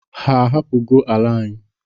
Ha ahapụgo ala anyị?